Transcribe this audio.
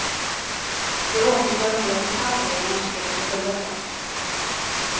Det återstår en del detaljer innan spelet är fulländat.